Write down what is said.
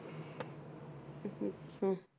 ਹੁੰ